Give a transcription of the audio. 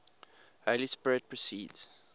holy spirit proceeds